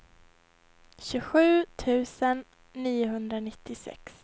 tjugosju tusen niohundranittiosex